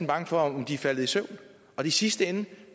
bange for at de er faldet i søvn og i sidste ende